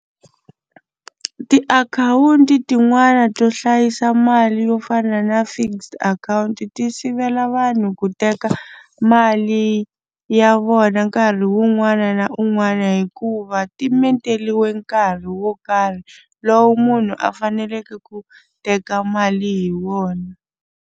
Tiakhawunti tin'wani to hlayisa mali yo fana na fixed account ti sivela vanhu ku teka mali ya vona nkarhi wun'wana na un'wana hikuva ti menteriwe nkarhi wo karhi lowu munhu a faneleke ku teka mali hi wona.